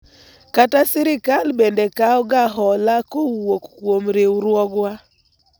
kata sirikal bende kawo ga hola kowuok kuom riwruogwa